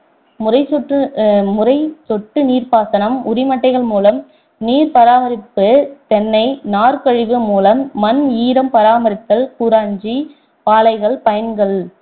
முறை சொட்டு அஹ் முறை சொட்டு நீர் பாசனம் உரிமட்டைகள் மூலம் நீர் பராமரிப்பு தென்னை நார் கழிவு மூலம் மண் ஈரம் பராமரித்தல் கூராஞ்சி பாளைகள் பயன்கள்